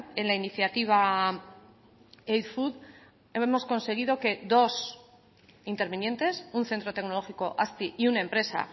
en la iniciativa eit food hemos conseguido que dos intervinientes un centro tecnológico azti y una empresa